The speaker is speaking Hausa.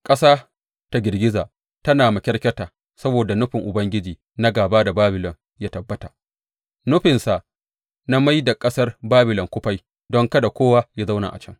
Ƙasa ta girgiza tana makyarkyata saboda nufin Ubangiji na gāba da Babilon ya tabbata, nufinsa na mai da ƙasar Babilon kufai don kada kowa yă zauna a can.